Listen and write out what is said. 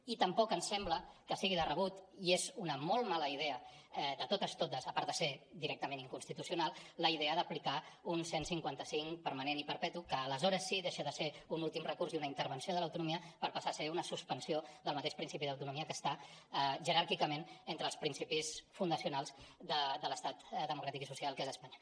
i tampoc ens sembla que sigui de rebut i és una molt mala idea de totes totes a part de ser directament inconstitucional la idea d’aplicar un cent i cinquanta cinc permanent i perpetu que aleshores sí deixa de ser un últim recurs i una intervenció de l’autonomia per passar a ser una suspensió del mateix principi d’autonomia que està jeràrquicament entre els principis fundacionals de l’estat democràtic i social que és espanya